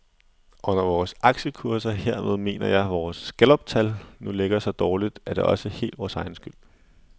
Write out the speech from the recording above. Og når vores aktiekurser, hermed mener jeg vores galluptal, nu ligger så dårligt, er det også helt vores egen skyld.